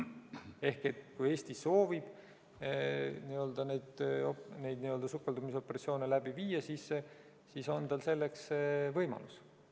Ehk kui Eesti soovib neid sukeldumisoperatsioone läbi viia, siis on tal selleks võimalus.